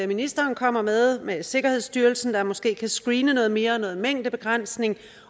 ministeren kommer med med sikkerhedsstyrelsen der måske kan screene noget mere og noget mængdebegrænsning